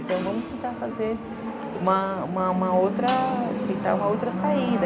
Então vamos tentar fazer uma outra, tentar uma outra saída.